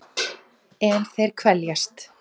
En þeir kveljast.